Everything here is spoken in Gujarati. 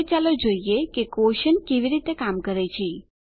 હવે ચાલો જોઈએ કે ક્વોશન્ટ કેવી રીતે કામ કરે છે